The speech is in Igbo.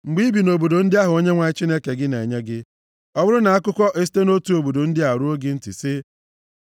Mgbe i bi nʼobodo ndị ahụ Onyenwe anyị Chineke gị na-enye gị, ọ bụrụ na akụkọ esite nʼotu obodo ndị a ruo gị ntị sị,